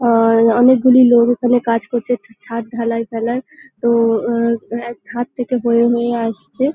আহ অনেকগুলি লোক এখানে কাজ করছে ছাদ ঢালাই ফেলায় তো আহ এক ধার থেকে বয়ে নিয়ে আসছে।